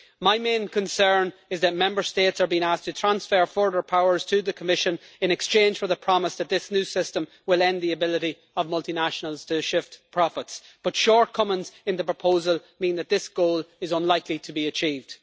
My main concern is that Member States are being asked to transfer further powers to the Commission in exchange for the promise that this new system will end the ability of multinationals to shift profits, but shortcomings in the proposal mean that this goal is unlikely to be achieved.